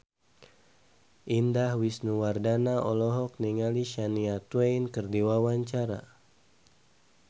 Indah Wisnuwardana olohok ningali Shania Twain keur diwawancara